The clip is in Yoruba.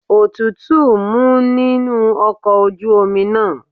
Òtútù ń mu nínú ọkọ̀ ojú omi náà.